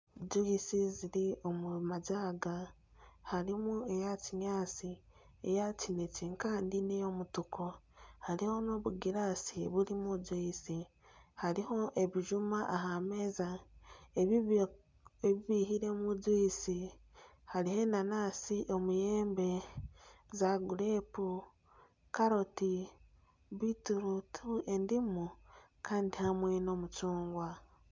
Gyuyisi ziri omu majaaga. Harimu eya kinyaatsi, eya kinekye hamwe n'eya mutuku. Hariho n'obugiraasi burimu gyuyisi. Hariho n'ebijuma aha meeza ebi baihiremu gyuyisi. Hariho enanansi, omuyembe, emizaabibu, karoti, bitiruuti endimu, kandi hamwe n'omucungwa.